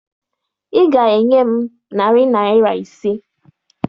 Ị ga-enye m narị naịra ise!